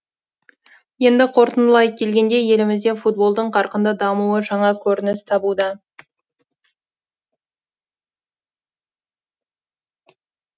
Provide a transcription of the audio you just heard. енді қорытындылай келгенде елімізде футболдың қарқынды дамуы жаңа көрініс табуда